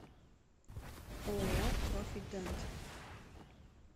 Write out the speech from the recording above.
ооо профи дент